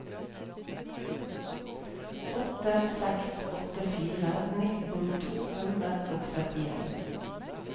åtte seks åtte fire nittien to hundre og syttien